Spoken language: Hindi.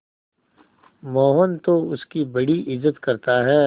मोहन तो उसकी बड़ी इज्जत करता है